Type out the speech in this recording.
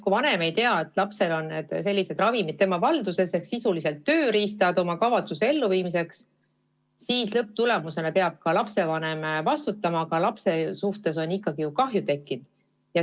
Kui vanem ei tea, et lapse valduses on sellised ravimid ehk sisuliselt tööriistad oma kavatsuse elluviimiseks, siis lõpptulemusena peab ka lapsevanem vastutama, aga lapsele on kahju juba tekkinud.